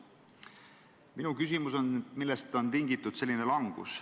Minu küsimus on, millest on tingitud selline langus.